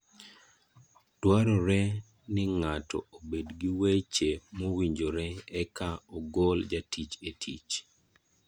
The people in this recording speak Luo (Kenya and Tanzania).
Dwarore ni ng'ato obed gi weche mowinjore e ka ogol jatich e tich